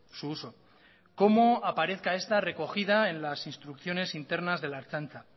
su uso cómo aparezca esta recogida en las instrucciones internas de la ertzaintza